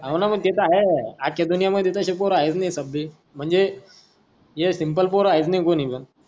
हव न ते त आहे आजच्या दुनिया मध्ये तसे पोर आहेच नाही सबे म्हणजे ये सिम्पल पोर आहेच नाही कोनी पण,